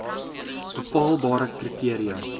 bepaalbare kri teria